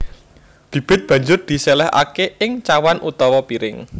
Bibit banjur diséléhaké ing cawan utawa piring